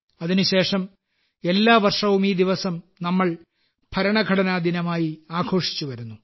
അതിനുശേഷം എല്ലാ വർഷവും ഈ ദിവസം നമ്മൾ ഭരണഘടനാ ദിനമായി ആഘോഷിച്ചു വരുന്നു